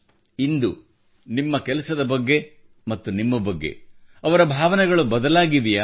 ಇಂದು ನಿಮ್ಮ ಕೆಲಸದ ಬಗ್ಗೆ ಮತ್ತು ನಿಮ್ಮ ಬಗ್ಗೆ ಅವರ ಭಾವನೆಗಳು ಬದಲಾಗಿವೆಯೇ